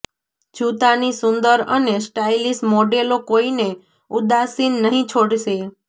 જૂતાની સુંદર અને સ્ટાઇલિશ મોડેલો કોઈને ઉદાસીન નહીં છોડશે